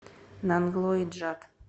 нанглои джат